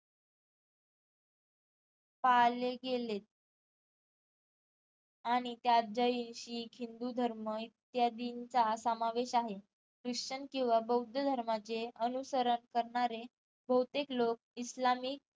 पाले गेलेत आणि त्यात जैन, शीख, हिंदू धर्म इत्यादीचा समावेश आहे क्रिशन किंवा बौद्ध धर्माचे अनुसरण करणारे बहुतेक लोक इस्लामीक